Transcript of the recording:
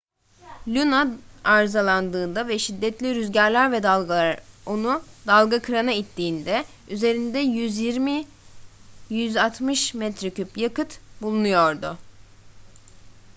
luno arızalandığında ve şiddetli rüzgarlar ve dalgalar onu dalgakırana ittiğinde üzerinde 120-160 metreküp yakıt bulunuyordu